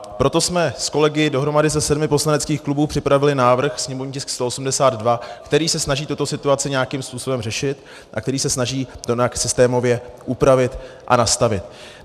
Proto jsme s kolegy dohromady ze sedmi poslaneckých klubů připravili návrh sněmovní tisk 182, který se snaží tuto situaci nějakým způsobem řešit a který se snaží to nějak systémově upravit a nastavit.